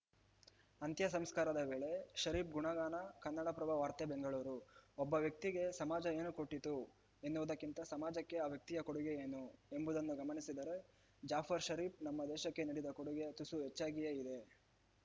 ಅಂತ್ಯಸಂಸ್ಕಾರದ ವೇಳೆ ಷರೀಫ್‌ ಗುಣಗಾನ ಕನ್ನಡಪ್ರಭ ವಾರ್ತೆ ಬೆಂಗಳೂರು ಒಬ್ಬ ವ್ಯಕ್ತಿಗೆ ಸಮಾಜ ಏನು ಕೊಟ್ಟಿತು ಎನ್ನುವುದಕ್ಕಿಂತ ಸಮಾಜಕ್ಕೆ ಆ ವ್ಯಕ್ತಿಯ ಕೊಡುಗೆ ಏನು ಎಂಬುದನ್ನು ಗಮನಿಸಿದರೆ ಜಾಫರ್‌ ಷರೀಫ್‌ ನಮ್ಮ ದೇಶಕ್ಕೆ ನೀಡಿದ ಕೊಡುಗೆ ತುಸು ಹೆಚ್ಚಾಗಿಯೇ ಇದೆ